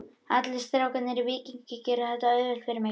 Allir strákarnir í Víkingi gera þetta auðvelt fyrir mig.